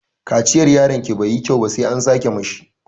Kaciyar yaronki bai yi kyau ba sai an sake mishi.